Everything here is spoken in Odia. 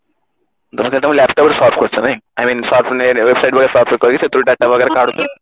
ତମେ ତ ତମ laptop ରେ search କରୁଛ ନାଇଁ I mean website search କରିକି ସେଥିରୁ data ବଗେରା କାଢୁଛ